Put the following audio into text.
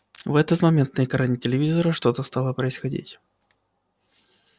в этот момент на экране телевизора что-то стало происходить